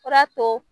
Fura to